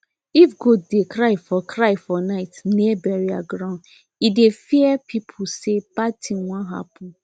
if goat dey cry for cry for night near burial ground e dey fear people say bad thing wan happen